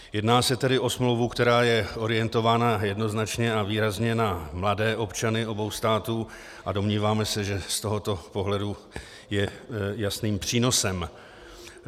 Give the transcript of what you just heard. Jedná se tedy o smlouvu, která je orientována jednoznačně a výrazně na mladé občany obou států, a domníváme se, že z tohoto pohledu je jasným přínosem.